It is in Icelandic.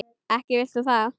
Ekki vilt þú það?